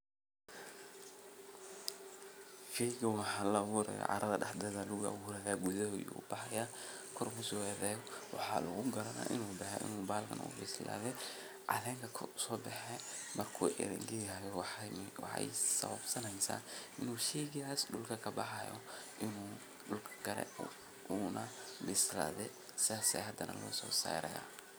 Sheygan wuxu laaburaya carada dhexdeda lagaabura gudaheda aya kabaxaya koor ayu soadaya waxa lugugaranaya inu bexe inu bahankan uu bislade calenka koor usobaxaya inu sheygas dhulka kabexe oo inu hadanakare sidas aya lugusosaraya.